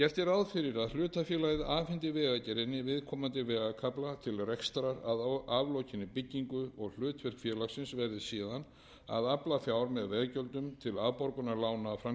ráð fyrir að hlutafélagið afhendi vegagerðinni viðkomandi vegarkafla til rekstrar að aflokinni byggingu og hlutverk félagsins verði síðan að afla fjár með veggjöldum til afborgunar lána af framkvæmdatímanum nema ákveðið verði